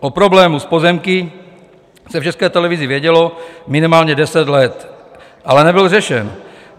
O problému s pozemky se v České televizi vědělo minimálně 10 let, ale nebyl řešen.